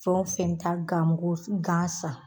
Fɛn o fɛn ta gan ko gan san